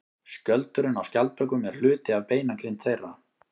Skjöldurinn á skjaldbökum er hluti af beinagrind þeirra.